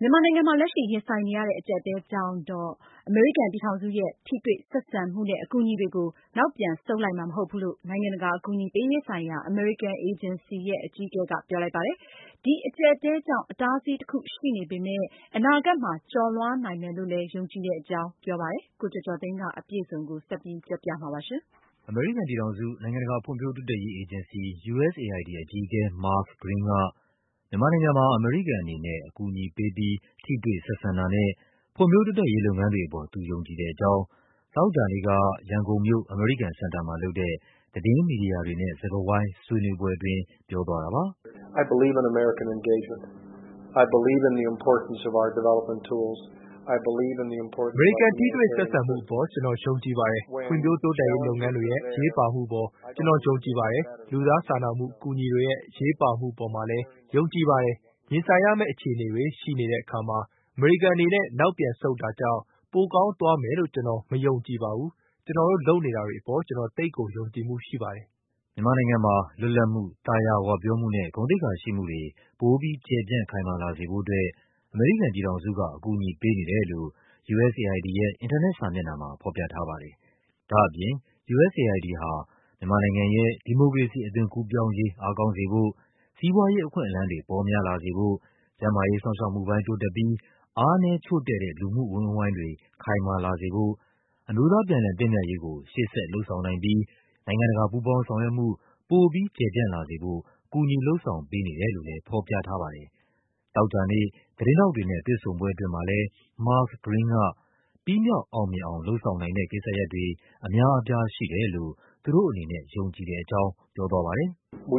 မြန်မာနိုင်ငံမှာ လက်ရှိရင်ဆိုင်နေရတဲ့ အကျပ်အတည်းကြောင့်တော့ အမေရိကန် ပြည်ထောင်စုရဲ့ ထိတွေ့ ဆက်ဆံမှုနဲ့ အကူအညီတွေကို နောက်ပြန်ဆုတ်လိုက်မှာ မဟုတ်ဘူးလို့ နိုင်ငံတကာ အကူအညီပေးရေးဆိုင်ရာ အမေရိကန်အေဂျင်စီရဲ့ အကြီးအကဲကပြောလိုက်ပါတယ်။ ဒီအကျပ်အတည်းကြောင့် အတားအဆီးတခု ရှိနေပေမဲ့ အနာဂတ်မှာ ကျော်လွှားနိုင်မယ်လို့ ယုံကြည်တဲ့အကြောင်းလည်း ပြောပါတယ်။ ကိုကျော်ကျော်သိန်းက အပြည့်အစုံ တင်ပြပေးထားပါတယ်။ အမေရိကန်ပြည်ထောင်စု၊ နိုင်ငံတကာဖွံ့ဖြိုးတိုးတက်ရေးအေဂျင်စီ အကြီးအကဲ Mark Green က မြန်မာနိုင်ငံမှာ အမေရိကန်အနေနဲ့ အကူအညီပေးပြီး ထိတွေ့ဆက်ဆံ တာနဲ့ ဖွံ့ဖြိုးတိုးတက်ရေး လုပ်ငန်းတွေ အပေါ် သူယုံကြည်တဲ့အကြောင်း သောကြာနေ့က ရန်ကုန်မြို့၊ အမေရိကန်စင်တာမှာလုပ်တဲ့ သတင်းမီဒီယာ တွေနဲ့ စကားဝိုင်းဆွေးနွေးပွဲ အတွင်း ပြောသွား တာပါ။ “အမေရိကန် ထိတွေ့ဆက်ဆံမှုပေါ် ကျနော်ယုံကြည်ပါတယ်။ ဖွံ့ဖြိုးတိုးတက်ရေး လုပ်ငန်းတွေရဲ့ အရေးပါမှုပေါ် ကျနော် ယုံကြည်ပါတယ်။ လူသားစာနာမှု အကူအညီတွေရဲ့ အရေးပါမှုပေါ် ကျနော်ယုံကြည်ပါတယ်။ ရင်ဆိုင်ရမယ့် အခြေအနေတွေ ရှိနေတဲ့အခါမှာ အမေရိကန်အနေနဲ့ နောက်ပြန်ဆုတ်လိုက်တာကြောင့် ပိုကောင်းသွားမယ်လို့ ကျနော် မယုံကြည်ပါဘူး။ ကျနော် တို့ လုပ်နေတာတွေအပေါ် ကျနော် သိပ်ကို ယုံကြည်မှုရှိပါတယ်။” မြန်မာနိုင်ငံမှာ လွတ်လပ်မှု၊ သာယာဝပြောမှုနဲ့ ဂုဏ်သိက္ခာရှိမှုတွေ ပိုပြီး ကျယ်ပြန့် ခိုင်မာလာစေဖို့အတွက် အမေရိကန် ပြည်ထောင်စုက အကူအညီပေးနေတယ်လို့ USAID ရဲ့ အင်တာနက်စာမျက်နှာမှာ ဖော်ပြထား ပါတယ်။ ဒါ့အပြင် USAID ဟာ မြန်မာနိုင်ငံရဲ့ ဒီမိုကရေစီအသွင်ကူးပြောင်းရေး အားကောင်းစေဖို့၊ စီးပွားရေး အခွင့်အလန်းတွေ ပေါများလာစေဖို့၊ ကျန်းမာရေး စောင့်ရှောက်မှုပိုင်း တိုးတက်ပြီး အားနည်းချို့တဲ့တဲ့ လူမှု အဝန်းအဝိုင်းတွေ ခိုင်မာလာစေဖို့၊ အမျိုးသားပြန်လည်သင့်မြတ်ရေးကို ရှေ့ဆက် လုပ်ဆောင်နိုင်ပြီး နိုင်ငံတကာ ပူးပေါင်းဆောင်ရွက်မှု ပိုပြီးကျယ်ပြန့်လာစေဖို့ ကူညီ လုပ်ဆောင်ပေးနေတယ်လို့လည်း ဖော်ပြထားပါတယ်။ သောကြာနေ့ သတင်းထောက်တွေနဲ့ တွေ့ဆုံပွဲအတွင်းမှာလည်း Mark Green က ပြီးမြောက်အောင်မြင်အောင် လုပ်ဆောင်နိုင်တဲ့ ကိစ္စရပ်တွေ အများအပြားရှိတယ်လို့ သူတို့အနေနဲ့ ယုံကြည်တဲ့အကြောင်း ပြောသွားပါတယ်။ “အဲ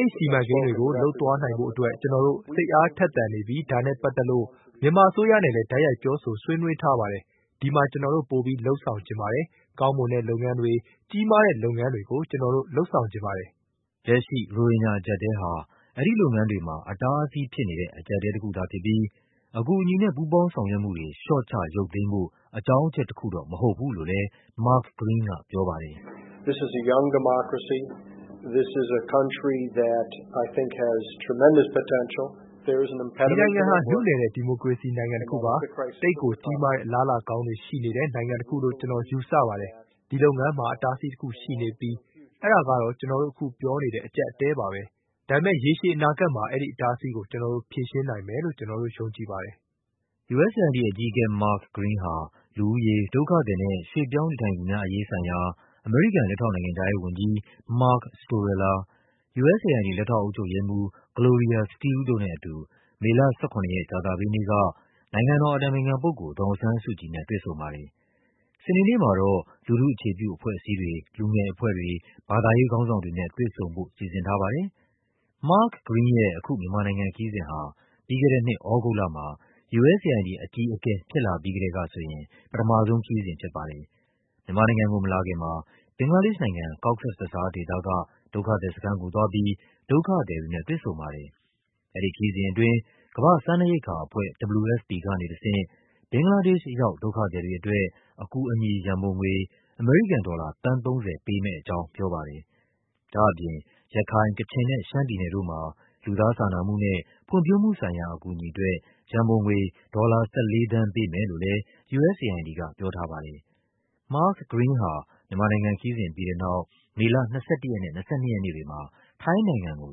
ဒီစီမံကိန်းတွေကို လုပ်ဆောင်သွားနိုင်ဖို့အတွက် ကျနော်တို့ စိတ်အားထက်သန်နေပြီး ဒါနဲ့ပတ်သက်လို့ မြန်မာအစိုးရနဲ့ လည်း တိုက်ရိုက် ပြောဆို ဆွေးနွေးထားပါတယ်။ ဒီမှာ ကျနော်တို့ ပိုပြီး လုပ်ဆောင်ချင်ပါတယ်။ ကောင်းမွန်တဲ့လုပ်ငန်းတွေ၊ ကြီးမားတဲ့ လုပ်ငန်းတွေကို ကျနော်တို့ လုပ်ဆောင်ချင်ပါတယ်။” လက်ရှိ ရိုဟင်ဂျာအကျပ်အတည်းဟာ အဲဒီလုပ်ငန်းတွေမှာ အတားအဆီးဖြစ်နေတဲ့ အကျပ်အတည်းတခုသာ ဖြစ်ပြီး အကူအညီနဲ့ ပူးပေါင်းဆောင်ရွက်မှုတွေ လျှော့ချ ရုပ်သိမ်းဖို့ အကြောင်းအချက်တခုတော့ မဟုတ်ဘူး လို့လည်း Mark Green ကပြောပါတယ်။ “ဒီနိုင်ငံဟာ နုနယ်တဲ့ ဒီမိုကရေစီနိုင်ငံတခုပါ။ သိပ်ကိုကြီးမားတဲ့ အလားအလာကောင်းတွေ ရှိနေတဲ့ နိုင်ငံတခုလို့ ကျနော် ယူဆပါတယ်။ ဒီလုပ်ငန်းမှာ အတားအဆီးတခုရှိနေပြီး အဲဒါကတော့ အခု ကျနော်တို့ပြောနေတဲ့ အကျပ်အတည်းပါပဲ။ ဒါပေမဲ့ ရေရှည် အနာဂတ်မှာ အဲဒီအတားအဆီးကို ကျနော်တို့ ဖြေရှင်းနိုင်မယ်လို့ ကျနော်ယုံကြည်ပါတယ်။” USAID အကြီးအကဲ Mark Green ဟာ လူဦးရေ၊ ဒုက္ခသည်နဲ့ ရွှေ့ပြောင်း နေထိုင်သူများအရေးဆိုင်ရာ အမေရိကန် လက်ထောက်နိုင်ငံခြားရေးဝန်ကြီး Mark Storella ၊ USAID လက်ထောက်အုပ်ချုပ်ရေးမှူး Gloria Steele တို့နဲ့အတူ မေလ ၁၇ ရက် ကြာသပတေးနေ့က နိုင်ငံတော်အတိုင်ပင်ခံပုဂ္ဂိုလ် ဒေါ်အောင်ဆန်းစုကြည်နဲ့ တွေ့ဆုံပါတယ်။ စနေနေ့မှာတော့ လူထု အခြေ ပြုအဖွဲ့အစည်းတွေ၊ လူငယ်အဖွဲ့တွေ၊ ဘာသာရေး ခေါင်းဆောင်တွေနဲ့ တွေ့ဆုံဖို့စီစဉ်ထားပါတယ်။ Mark Green ရဲ့ အခု မြန်မာနိုင်ငံခရီးစဉ်ဟာ ပြီးခဲ့တဲ့နှစ် သြဂုတ်လမှာ USAID အကြီးအကဲဖြစ်လာပြီး ကတည်းက ဆိုရင် ပထမ ဆုံးခရီးစဉ်ဖြစ်ပါတယ်။ မြန်မာနိုင်ငံကို မလာခင်မှာ ဘင်္ဂလားဒေ့ရှ်နိုင်ငံ၊ Cox’s Bazar ဒေသက ဒုက္ခသည်စခန်းကိုသွားပြီး ဒုက္ခ သည်တွေနဲ့ တွေ့ဆုံပါတယ်။ အဲဒီခရီးစဉ်အတွင်း ကမ္ဘာ့စားနပ်ရိက္ခာအဖွဲ့ WFP ကနေတဆင့် ဘင်္ဂလားဒေ့ရှ်ရောက် ဒုက္ခသည်တွေအတွက် အကူအညီ ရန်ပုံငွေ အမေရိကန်ဒေါ်လာ သန်း ၃၀ ပေးမယ့် အကြောင်း ပြောပါတယ်။ ဒါ့အပြင် ရခိုင်၊ ကချင်နဲ့ ရှမ်းပြည်နယ်တို့မှာ လူသားစာနာမှုနဲ့ ဖွံ့ဖြိုးမှုဆိုင်ရာအကူအညီအတွက် ရန်ပုံငွေ ဒေါ်လာ ၁၄ သန်း ပေးမယ် လို့လည်း USAID ကပြောထားပါတယ်။ Mark Green ဟာ မြန်မာနိုင်ငံခရီးစဉ်ပြီးတဲ့နောက် မေလ ၂၁ ရက်နဲ့ ၂၂ ရက်နေ့တွေမှာ ထိုင်းနိုင်ငံကို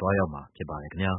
သွားရောက်မှာ ဖြစ်ပါတယ် ခင်ဗျာ